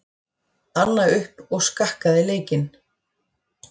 Anna upp og skakkaði leikinn.